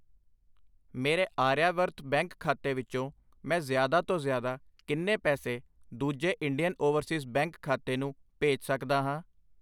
ਮੇਰੇ ਆਰਿਆਵਰਤ ਬੈਂਕ ਖਾਤੇ ਵਿੱਚੋ ਮੈਂ ਜ਼ਿਆਦਾ ਤੋਂ ਜ਼ਿਆਦਾ ਕਿੰਨੇ ਪੈਸੇ ਦੂਜੇ ਇੰਡੀਅਨ ਓਵਰਸੀਜ਼ ਬੈਂਕ ਖਾਤੇ ਨੂੰ ਭੇਜ ਸਕਦਾ ਹਾਂ ?